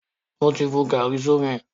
Mo ti bu gàárì sómi.